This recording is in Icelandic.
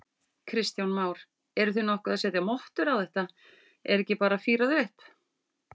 Kristján Már: Eruð þið nokkuð að setja mottur á þetta, er ekki bara fírað upp?